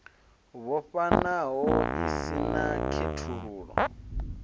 vhofhanaho i si na khethululo